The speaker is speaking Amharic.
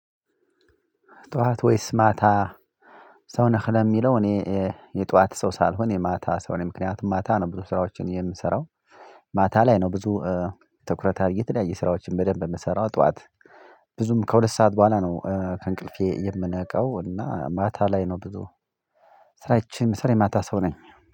ጧት ወይስ ማታ? ሰው ነህ ለሚለው እኔ የጧት ሰው ሳልሆን የማታ ሰው ነኝ ምክንያቱም ማታ ነው ብዙ ስራዎችን የምሰራው ማታ ላይ ነው። ብዙ ትኩረት አድርጌ ተለያይ ስራዎችን በደንብ የምሰራው። ጧት ብዙም ከሁለት ሰዓት በኋላ ነው ከእንቅልፌ የምነቃው እና ማታ ላይ ነው። ብዙ ስራዬን የምሰራው ማታ ሰው ነኝ።